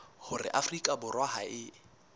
hore afrika borwa ha e